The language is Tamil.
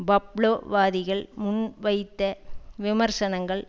பப்லோவாதிகள் முன்வைத்த விமர்சனங்கள்